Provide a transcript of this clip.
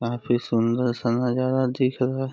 काफी सुंदर सा नजारा दिख रहा --